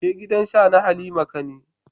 Je gidan Sha na Halima ka ni.